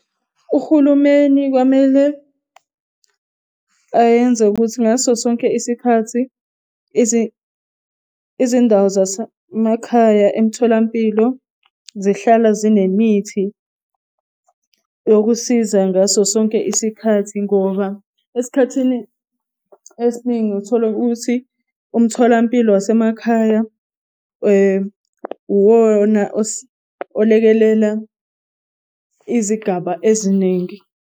Uhulumeni kwamele ayenze ukuthi ngaso sonke isikhathi izindawo zasemakhaya emtholampilo zihlala zinemithi yokusiza ngaso sonke isikhathi, ngoba esikhathini esiningi uthola ukuthi umtholampilo wasemakhaya uwona olekelela izigaba eziningi.